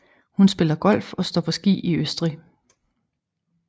Hun spiller golf og står på ski i Østrig